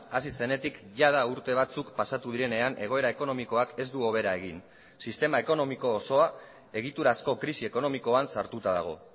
hasi zenetik jada urte batzuk pasatu direnean egoera ekonomikoak ez du hobera egin sistema ekonomiko osoa egiturazko krisi ekonomikoan sartuta dago